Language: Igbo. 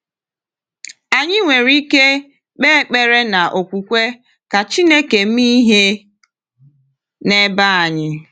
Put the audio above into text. Anyị nwere ike kpee ekpere n’okwukwe ka Chineke mee ihe n’ebe anyị.